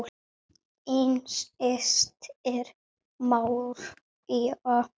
Þín systir, María.